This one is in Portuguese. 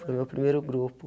Foi o meu primeiro grupo.